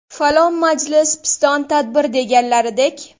Falon majlis, piston tadbir deganlaridek.